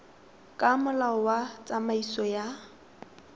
ka molao wa tsamaiso ya